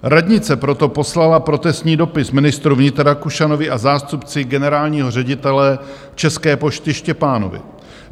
Radnice proto poslala protestní dopis ministru vnitra Rakušanovi a zástupci generálního ředitele České pošty Štěpánovi.